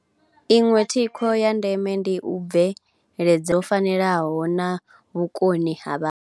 Iṅwe thikho ya ndeme ndi u bveledzazwo fanelaho na vhukoni ha.